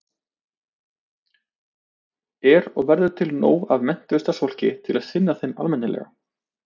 Er og verður til nóg af menntuðu starfsfólki til að sinna þeim almennilega?